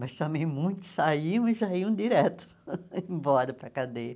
Mas também muitos saíam e já iam direto embora para a cadeia.